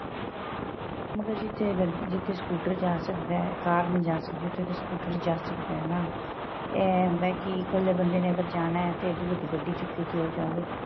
ਮਗ਼ਰ ਜਿਥੇ ਅਗਰ ਜਿਥੇ scooter ਜਾਂ ਸਕਦਾ ਏ ਕਾਰ ਨਹੀਂ ਜਾਂ ਸਕਦੀ ਉਥੇ ਤੇ scooter ਹੀ ਜਾਂ ਸਕਦਾ ਹੈਨਾ ਏਹ ਹੁੰਦਾ ਕੀ ਇੱਕਲੇ ਬੰਦੇ ਨੇ ਅਗ਼ਰ ਜਾਣਾ ਹਾਂ ਤੇ ਇੰਨੀ ਵੱਡੀ ਗੱਡੀ ਚੁੱਕ ਕੇ ਕਿਉ ਜਾਵੇ